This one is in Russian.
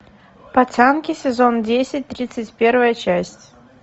пацанки сезон десять тридцать первая часть